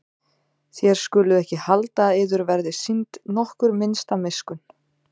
Þér skuluð ekki halda að yður verði sýnd nokkur minnsta miskunn.